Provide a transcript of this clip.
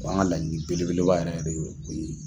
O y'an ka laɲini belebeleba yɛrɛ yɛrɛ de ye o ye